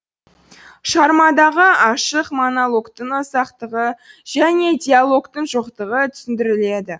шығармадағы ашық монологтың ұзақтығы және диалогтың жоқтығы түсіндіріледі